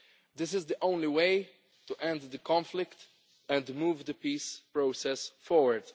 This is the only way to end the conflict and move the peace process forward.